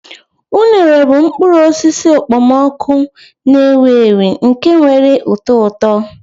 Unere bụ mkpụrụ osisi okpomọkụ na-ewu ewu nke nwere ụtọ ụtọ.